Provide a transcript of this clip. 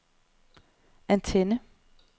antenne